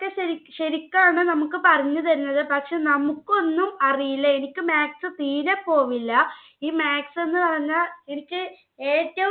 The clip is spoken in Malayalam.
ശരിക്കാണ് നമുക്ക് പറഞ്ഞു തരുന്നത്. പക്ഷെ നമുക്ക് ഒന്നും അറിയില്ല. എനിക്ക് maths തീരെ പോവില്ല. ഈ maths എന്ന് പറഞ്ഞാൽ എനിക്ക് ഏറ്റവും